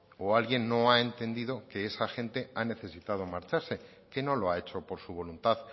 o alguien no ha entendido que esa gente ha necesitado marcharse que no lo ha hecho por su voluntad